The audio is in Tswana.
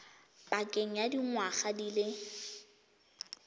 pakeng ya dingwaga di le